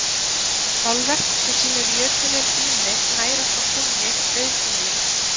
málverk sem sýnir jötuninn ými nærast á kúnni auðhumlu